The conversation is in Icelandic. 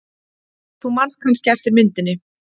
Þú manst kannski eftir myndinni.